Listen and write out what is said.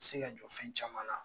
Se ka jɔ fɛn caman na.